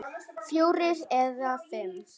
Fjórir eða fimm!